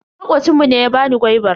Makocin mu ne ya bani gwaibar.